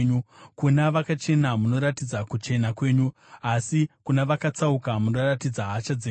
kuna vakachena munoratidza kuchena kwenyu, asi kuna vakatsauka munoratidza hasha dzenyu.